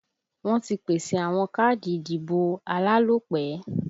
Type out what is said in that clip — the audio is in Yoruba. Wọ́n ti pèsè àwọn káàdì ìdìbò alálòpẹ́